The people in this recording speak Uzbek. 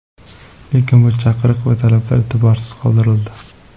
Lekin bu chaqiriq va talablar e’tiborsiz qoldirildi.